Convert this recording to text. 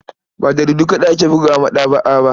Ba jaridu kaɗai ake bugawa a maɗaba'a ba.